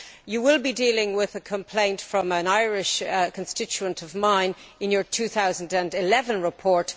You will be dealing with a complaint from an Irish constituent of mine in your 2011 report.